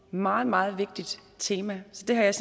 meget meget vigtigt tema så det har jeg